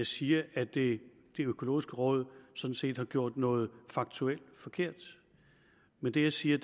siger at det økologiske råd sådan set har gjort noget faktuelt forkert men det jeg siger